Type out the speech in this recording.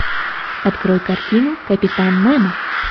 открой картину капитан немо